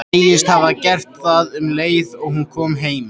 Segist hafa gert það um leið og hún kom heim.